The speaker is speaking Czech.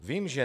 Vím, že